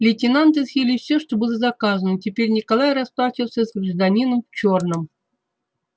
лейтенанты съели все что было заказано и теперь николай расплачивался с гражданином в чёрном